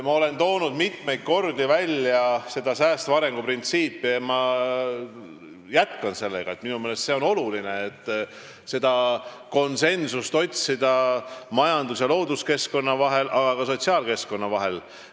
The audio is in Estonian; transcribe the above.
Ma olen mitmel korral rääkinud säästva arengu printsiibist ja jätkan seda, sest minu meelest on oluline otsida konsensust majandus- ja looduskeskkonna, aga ka sotsiaalkeskkonna vahel.